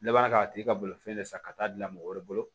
I b'a k'a tigi ka bolofɛn de san ka taa dilan mɔgɔ wɛrɛ bolo